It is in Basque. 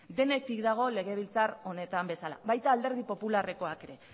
denetik dago legebiltzar honetan bezala baita alderdi popularrekoak ere